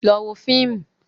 Lọ wo fíìmù.